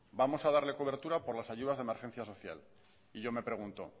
vamos a darle cobertura por las ayudas de emergencia social y yo me pregunto